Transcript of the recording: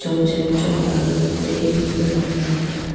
janchen chong paga kuding fe ngan taiga.